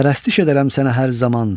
Pərəstiş edərəm sənə hər zaman!